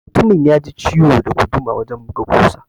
Mutumin yaji ciwo da guduma wajan buga ƙusa.